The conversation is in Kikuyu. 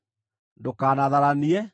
“Ndũkanatharanie.